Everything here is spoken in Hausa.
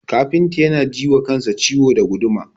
Kafintan yana ji wa kansa ciwo da guduma.